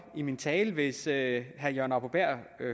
i min tale hvis herre jørgen arbo bæhr